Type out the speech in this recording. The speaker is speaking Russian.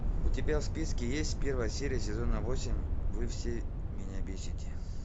у тебя в списке есть первая серия сезона восемь вы все меня бесите